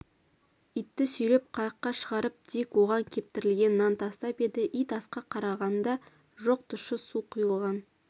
итті сүйреп қайыққа шығарып дик оған кептірілген нан тастап еді ит асқа қараған да жоқ тұщы су құйылған